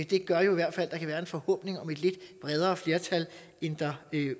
det gør jo i hvert fald at der kan være en forhåbning om et lidt bredere flertal end der